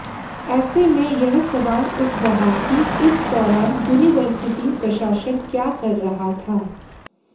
ऐसे में यह सवाल उठ रहा कि इस दौरान यूनिवर्सिटी प्रशासन क्या कर रहा था